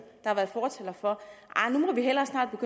har været fortalere for at vi hellere snart må